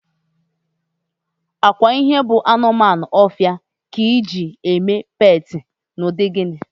Ọkwa ihe bụ anụmanụ ọfịa, Eji agwọ eme peetị na ụdị gịnị?